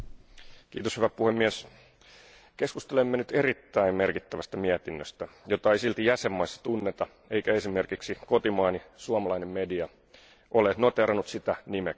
Arvoisa puhemies, keskustelemme nyt erittäin merkittävästä mietinnöstä, jota ei silti jäsenvaltioissa tunneta, eikä esimerkiksi kotimaani suomalainen media ole noteerannut sitä nimeksikään.